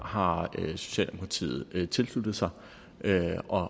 har socialdemokratiet tilsluttet sig jeg